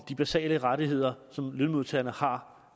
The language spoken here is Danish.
de basale rettigheder som lønmodtagerne har